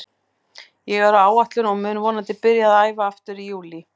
Ég er á áætlun og mun vonandi byrja að æfa aftur í júlí.